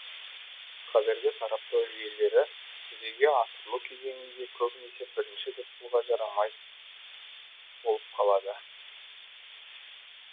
қазіргі сараптау жүйелері жүзеге асырылу кезеңінде көбінесе бірінші түп тұлға жарамай болып калады